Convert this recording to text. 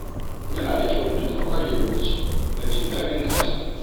Yana da kyau mutum ya ware lokaci don jin daɗin kansa.